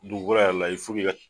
Dugukolo yɛrɛ la ka